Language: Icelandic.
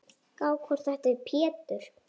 Gá hvort þetta er Pétur.